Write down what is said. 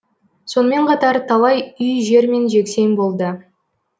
сонымен қатар талай үй жермен жексен болды